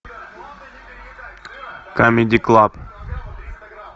камеди клаб